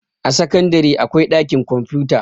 a sakandare akwai ɗakin kwamfuta